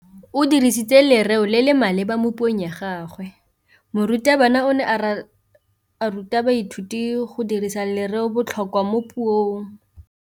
O dirisitse lerêo le le maleba mo puông ya gagwe. Morutabana o ne a ruta baithuti go dirisa lêrêôbotlhôkwa mo puong.